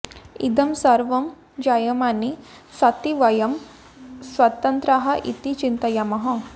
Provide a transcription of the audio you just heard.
इदं सर्वं जायमाने सति वयं स्वतन्त्राः इति चिन्तयामः